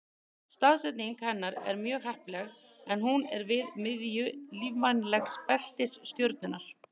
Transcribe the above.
Staðsetning hennar er mjög heppileg en hún er við miðju lífvænlegs beltis stjörnunnar.